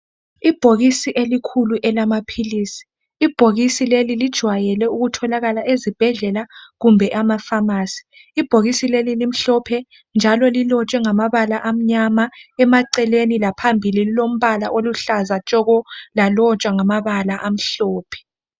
Ibhokisi elikhulu elamapilisi. Ibhokisi leli linjwayele ukutholaka esibhedlela kumbe amafamasi. Ibhokisi leli limhlophe njalo lilotshwe ngamabala amnyama emaceleni, laphambili lilombala oluhladla tshoko, lalotshwa ngamabala amhlophe.